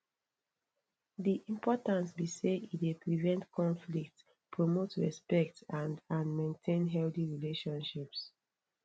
di importance be say e dey prevent conflicts promote respect and and maintain healthy relationships